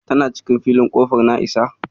Tana cikin filin Ƙofar Na'isa.